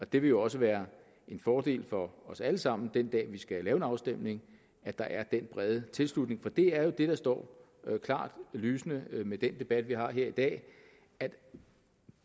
det vil også være en fordel for os alle sammen den dag vi skal lave en afstemning at der er den brede tilslutning for det er jo det der står klart lysende med den debat vi har her i dag at